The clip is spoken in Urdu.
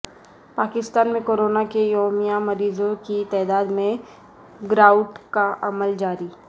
پاکستان میں کورونا کے یومیہ مریضوں کی تعداد میں گراوٹ کا عمل جاری